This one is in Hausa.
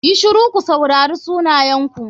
YI shiru ku saurari sunayenku.